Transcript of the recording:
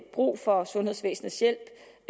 brug for sundhedsvæsenets hjælp